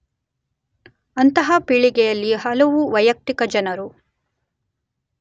ಅಂತಹ ಪೀಳಿಗೆಯಲ್ಲಿ ಹಲವು ವೈಯಕ್ತಿಕ ಜನರು